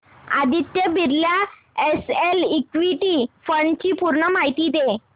Aditya Birla SL equity fund D ची पूर्ण माहिती दे